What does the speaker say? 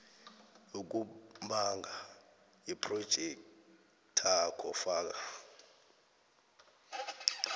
yokubhanga yephrojekthakho faka